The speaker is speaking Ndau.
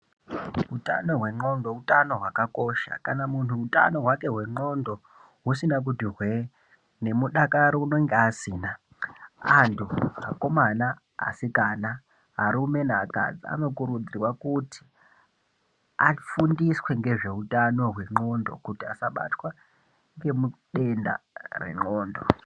Hutano hwendxondo hutano hwakakosha kana muntu hutano hwake hwendxondo husina kuti hwee, nemudakaro unenge asina, antu, akomana asikana, arume neakadzi anokurudzirwa kuti afundiswe ngezveutano hwendxondo kuti asabatwe ngedenda rendxondo.